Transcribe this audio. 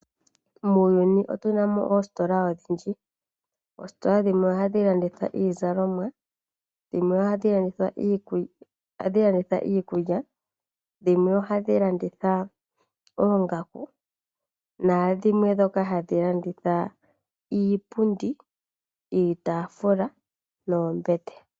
Muuyuni otu namo oositola odhindji, oositola dhimwe oha dhi landitha iizalomwa dhimwe oha dhi landitha iikulya dhimwe oha dhi landitha oongaku nadhimwe ndhoka hadhi landitha iipundi, iitafula noombete.